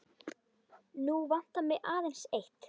Nú vantar mig aðeins eitt!